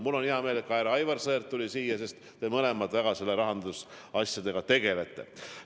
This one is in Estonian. Mul on hea meel, et ka härra Aivar Sõerd tuli saali, sest te mõlemad rahandusasjadega väga tegelete.